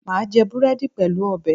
Mà á jẹ búrẹ́dì pẹ̀lú ọbẹ̀